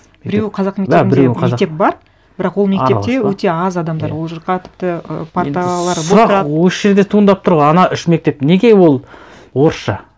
біреуі қазақ мектебінде мектеп бар бірақ ол мектепте өте аз адамдар ол жаққа тіпті і парталар бос тұрады енді сұрақ осы жерде туындап тұр ғой ана үш мектеп неге ол орысша